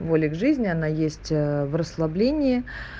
воли к жизни она есть в расслаблении